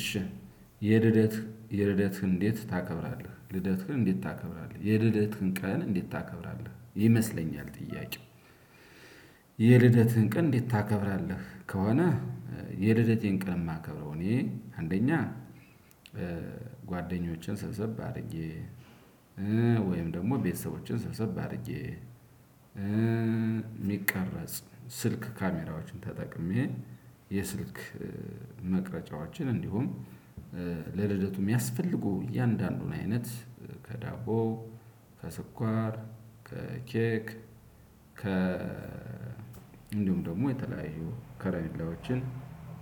እሺ የልደት የልደት እንዴት ታከብራለህ ልደትህን እንዴት ታከብራለህ የልደትህን ቀን እንዴት ታከብራለህ ይመስለኛል ጥያቄው የልደትን ቀን እንዴት ታከብራለህ? ከሆነ የልደቴን ቀን ማከብረው። እኔ አንደኛ ጓደኞችን ሰብሰብ አድርጌ ወይም ደግሞ ቤተሰቦችን ሰብሰብ አድርጌ የሚቀርጽ ስልክ ካሜራዎችን ተጠቅሜ የስልክ መቅረጫዎቻችን እንዲሁም ለልደቱ የሚያስፈልጉ እያንዳንዱን አይነት ከዳቦ ከስኳር ከኬክ ከ እንዲሁም ደግሞ የተለያዩ ከረሜላዎችን